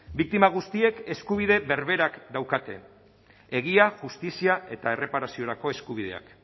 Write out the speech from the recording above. biktima guztiek eskubide berberak daukate egia justizia eta erreparaziorako eskubideak